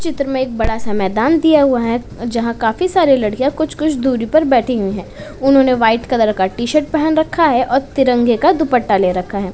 चित्र में एक बड़ा सा मैदान दिया हुआ है जहाँं काफी सारे लड़कियां कुछ-कुछ दूरी पर बैठी हुई हैं। उन्होंने वाइट कलर का टी-शर्ट पहन रखा है और तिरंगे का दुप्पटा ले रखा है।